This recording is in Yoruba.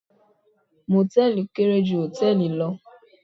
Mòtẹ́ẹ̀lì kéré ju Hòtẹ́ẹ̀lì lọ